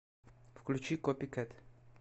включи копикэт